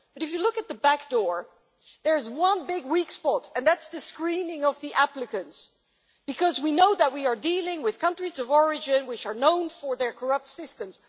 But if you look at the back door there's one big weak spot and that's the screening of the applicants, because we know that we are dealing with countries of origin which are known for their corrupt systems.